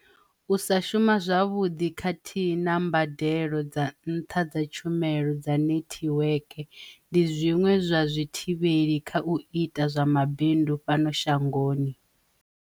U sa shuma zwavhuḓi khathihi na mbadelo dza nṱha dza tshumelo dza netiweke ndi zwiṅwe zwa zwithivheli kha u ita zwa mabindu fhano shangoni.